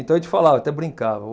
Então a gente falava, até brincava.